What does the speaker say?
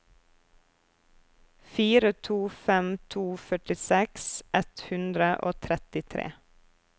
fire to fem to førtiseks ett hundre og trettitre